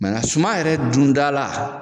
a suma yɛrɛ dundala